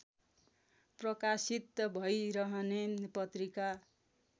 प्रकाशित भइरहने पत्रिका